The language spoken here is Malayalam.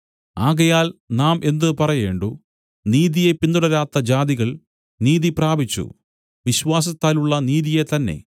ആകയാൽ നാം എന്ത് പറയേണ്ടു നീതിയെ പിന്തുടരാത്ത ജാതികൾ നീതിപ്രാപിച്ചു വിശ്വാസത്താലുള്ള നീതി തന്നേ